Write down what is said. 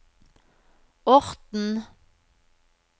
Orten